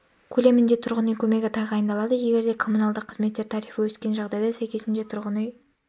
көлемінде тұрғын үй көмегі тағайындалады егер де коммуналдық қызметтер тарифі өскен жағдайда сәйкесінше тұрғын үй